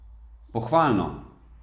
Pohvalno!